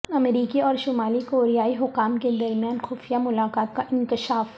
امریکی اور شمالی کوریائی حکام کے درمیان خفیہ ملاقات کا انکشاف